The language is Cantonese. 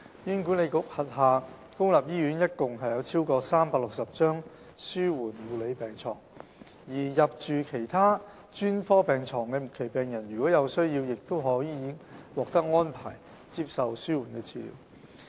醫管局轄下公立醫院共有超過360張紓緩護理病床，而入住其他專科病床的末期病人，如有需要亦可獲安排接受紓緩治療。